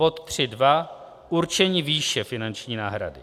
Bod 3.2 Určení výše finanční náhrady.